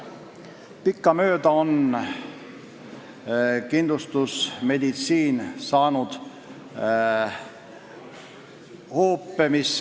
Pikkamööda on meie kindlustusmeditsiin hoope saanud.